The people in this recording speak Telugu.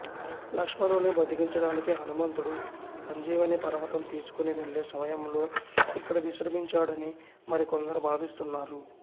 లక్ష్మణుని బ్రతికించడానికి హనుమంతుడు సంజీవని పర్వతం తీసుకుని వెళ్ళే సమయంలో ఇక్కడ విశ్రమించాడని మరి కొందరు భావిస్తున్నారు